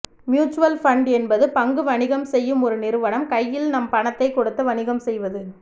mutual fund என்பது பங்கு வணிகம் செய்யும் ஒரு நிறுவனம் கையில் நம் பணத்தை கொடுத்து வணிகம் செய்வது